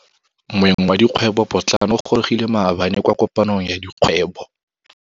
Moêng wa dikgwêbô pôtlana o gorogile maabane kwa kopanong ya dikgwêbô.